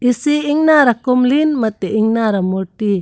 isi ingnar akumlin mate ingnar amurti.